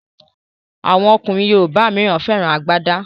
Awọn ọkùnrin yorùbá míràn féràn àgbàda.